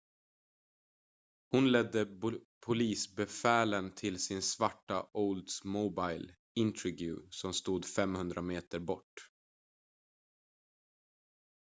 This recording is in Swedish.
hon ledde polisbefälen till sin svarta oldsmobile intrigue som stod 500 meter bort